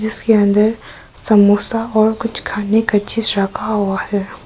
इसके अंदर समोसा और कुछ खाने का चीज रखा हुआ है।